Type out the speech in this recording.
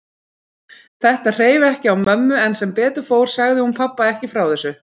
Þetta hreif ekki á mömmu en sem betur fór sagði hún pabba ekki frá þessu.